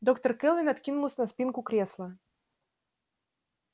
доктор кэлвин откинулась на спинку кресла